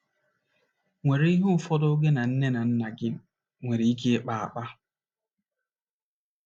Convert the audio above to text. nwere ihe ụfọdụ gị na nne na nna gị nwere ike ịkpa akpa.